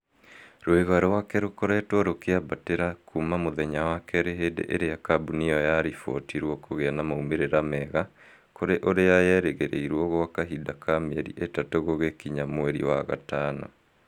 rũĩga rwake rũkoretwo rũkĩambatĩra kuma mũthenya wa kerĩ hĩndĩ ĩria kambũni ĩyo yalibotirwo kũgĩa na maumĩrĩra mega kũrĩ ũrĩa yerĩgĩrĩrwo gwa kahinda ka mĩeri ĩtatũ gũgĩkinya mweri wa gatano